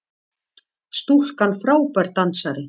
Stúlkan frábær dansari!